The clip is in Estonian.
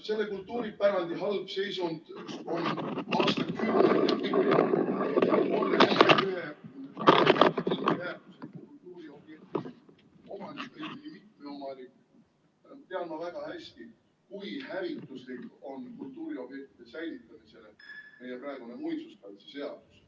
Selle kultuuripärandi halb seisund on aastakümneid ...... väärtusliku kultuuriobjekti omanik, isegi mitme omanik, tean ma väga hästi, kui hävituslik on kultuuriobjektide säilitamisele meie praegune muinsuskaitseseadus.